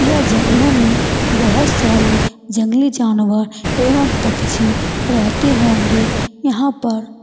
यह जंगलो में बोहोत सारे जंगली जानवर एवम पक्षी रहते होगे । यहाँ पर--